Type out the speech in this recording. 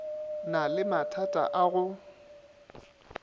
na le mathata a go